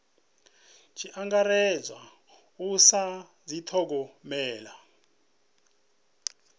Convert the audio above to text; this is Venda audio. tshi angaredzwa u sa dithogomela